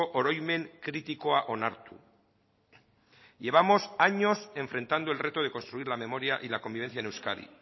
oroimen kritikoa onartu llevamos años enfrentando el reto de construir la memoria y la convivencia en euskadi